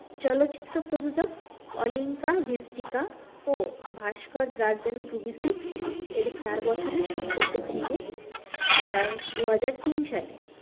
চলচ্চিত্র প্রযোযক Olinka Vistica ও ভাস্কর দ্রাজেন গ্রুবিসিক এর চার বছরের সম্পর্ক ভেঙে যায় দুহাজার তিন সালে